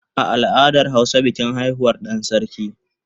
A al'adar hausa bikin haihuwar dan sarki